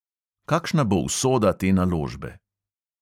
Kakšna bo usoda te naložbe?